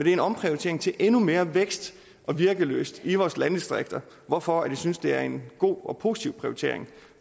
er en omprioritering til endnu mere vækst og virkelyst i vores landdistrikter hvorfor jeg synes det er en god og positiv prioritering